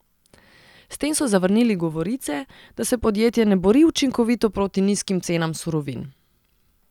S tem so zavrnili govorice, da se podjetje ne bori učinkovito proti nizkim cenam surovin.